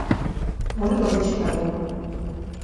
ольга бочкарева